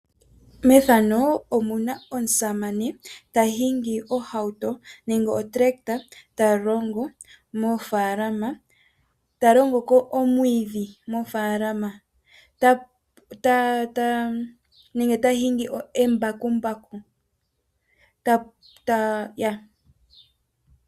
Aasamane ohaya hingi ohauto nenge omambakumbaku uuna taya longo mofaalama taya tutu omwiidhi mofaalama dhawo nenge taya pulula moofalama dhawo nomambakumbaku.